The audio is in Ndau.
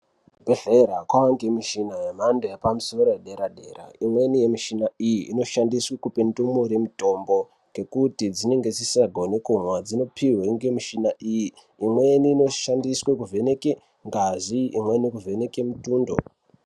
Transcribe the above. Kuzvibhehlera kwanemichina yemhando yepaderadera. Imweni yemushina iyi inoshandiswa kupa ndumure mitombo ngekuti dzinenge dzisingagoni kumwa. Dzinopiwe nemushina iyi. Imweni inoshandiswa kuvheneke ngazi, imweni kuvheneke mitundo.